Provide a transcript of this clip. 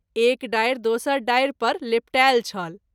एक डारि दोसर डारि पर लेपटायल छल।